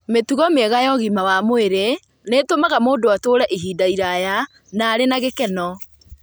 Mĩtugo mĩega ya ũgima mwega wa mwĩrĩ nĩ ĩtũmaga mũndũ atũũre ihinda iraya na arĩ na gĩkeno.